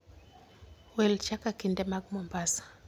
Wil chaka kinde mag Mombasa